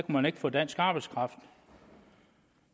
man ikke få dansk arbejdskraft